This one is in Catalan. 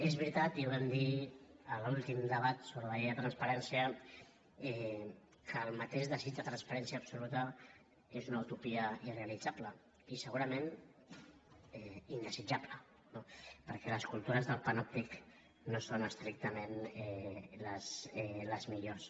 és veritat i ho vam dir en l’últim debat sobre la llei de transparència que el mateix desig de transparència absoluta és una utopia irrealitzable i segurament indesitjable no perquè les cultures del panòptic no són estrictament les millors